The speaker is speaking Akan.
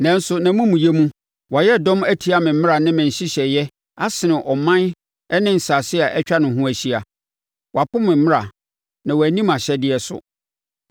Nanso, nʼamumuyɛ mu, wayɛ dɔm atia me mmara ne me nhyehyɛeɛ asene aman ne nsase a atwa ne ho ahyia. Wapo me mmara, na wanni mʼahyɛdeɛ so.